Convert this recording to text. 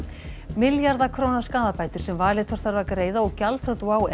milljarða króna skaðabætur sem Valitor þarf að greiða og gjaldþrot WOW